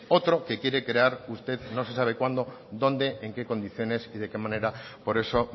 otro que quiere crear usted no se sabe cuándo dónde en qué condiciones y de qué manera por eso